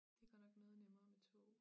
Det godt nok noget nemmere med tog